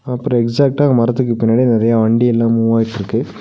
அப்றோ எக்ஸாக்டா அந்த மரத்துக்கு பின்னாடி நெறையா வண்டி எல்லா மூவ்வாயிட்ருக்கு .